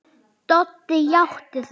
Doddi játti því.